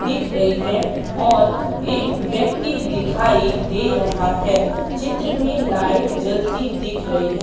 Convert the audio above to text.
दिख रही है और एक व्यक्ति दिखाई दे रहा है चित्र में लाइट जलती दिख रही है।